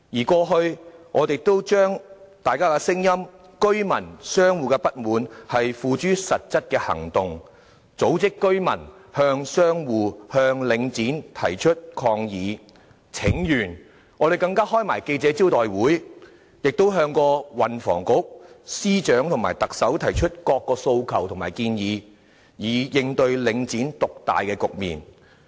過去，我們也曾將大家的聲音、居民和商戶的不滿，付諸實質的行動，例如組織居民向商戶和領展提出抗議和請願，更召開記者招待會，亦向運輸及房屋局、司長和特首提出各項訴求和建議，以應對領展獨大的局面。